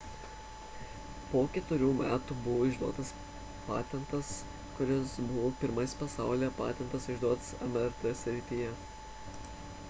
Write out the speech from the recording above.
po ketverių metų buvo išduotas patentas kuris buvo pirmasis pasaulyje patentas išduotas mrt srityje